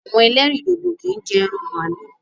Àwọn ẹlẹ́rìndòdò kì í jẹ ẹran màlúù